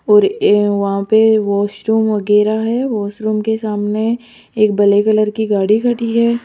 और ये वहां पे वॉशरूम वगैरा है वॉशरूम के सामने एक ब्लैक कलर की गाड़ी खड़ी है।